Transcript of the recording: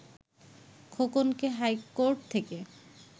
খোকনকে high court থেকে